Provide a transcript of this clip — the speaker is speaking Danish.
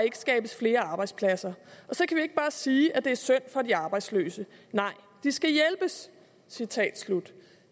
ikke skabes flere arbejdspladser og så kan vi ikke bare sige at det er synd for de arbejdsløse nej de skal hjælpes